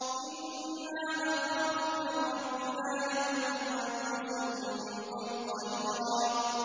إِنَّا نَخَافُ مِن رَّبِّنَا يَوْمًا عَبُوسًا قَمْطَرِيرًا